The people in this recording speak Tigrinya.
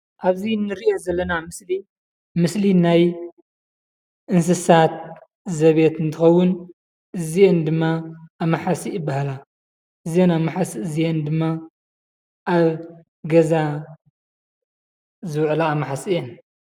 ኣብዚ ንርእዮ ዘለና ምስሊ ምስሊ ናይ እንስሳት ዘቤት እንትኸውን እዚኤን ድማ ኣማሕሲእ ይባሃላ። እዘን ኣማሓሲእ እዚአን ድማ ኣብ ገዛ ዝውዕላ ኣማሓሲእ እየን።